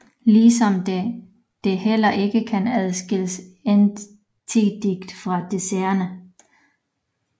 Ligesom de heller ikke kan adskilles entydigt fra diserne